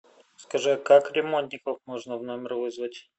скажи как ремонтников можно в номер вызвать